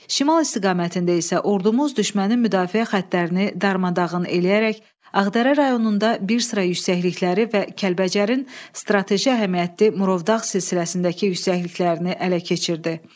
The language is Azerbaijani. Şimal istiqamətində isə ordumuz düşmənin müdafiə xəttlərini darmadağın eləyərək Ağdərə rayonunda bir sıra yüksəklikləri və Kəlbəcərin strateji əhəmiyyətli Murovdağ silsiləsindəki yüksəkliklərini ələ keçirdi.